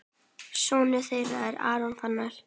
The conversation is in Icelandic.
Sonur þeirra er Aron Fannar.